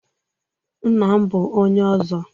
Nna m bụ onye Ọzọ